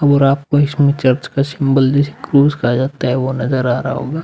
और आपको इसमें चर्च का सिंबल जिसे क्रूस कहा जाता है वो नज़र आ रहा होगा।